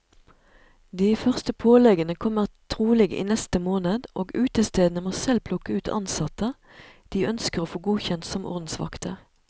De første påleggene kommer trolig i neste måned, og utestedene må selv plukke ut ansatte de ønsker å få godkjent som ordensvakter.